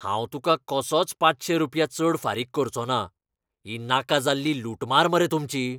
हांव तुका कसोच पाचशे रुपया चड फारीक करचों ना. ही नाका जाल्ली लुटमार मरे तुमची.